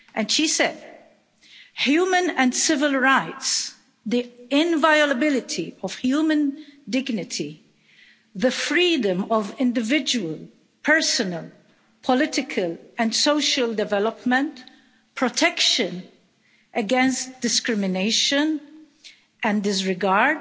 She said, human and civil rights, the inviolability of human dignity, the freedom of individual, personal, political and social development, protection against discrimination and disregard,